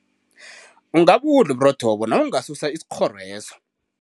Ungabudla uburotho lobo nawungasusa isikghoro leso.